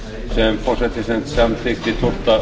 sem forsætisnefnd samþykkti tólfta